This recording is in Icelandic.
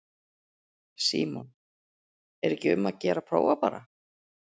Símon: Er ekki um að gera að prófa bara?